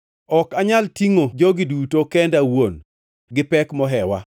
Ok anyal tingʼo jogi duto kenda awuon; gipek mohewa.